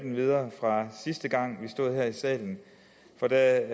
videre fra sidste gang vi stod her i salen da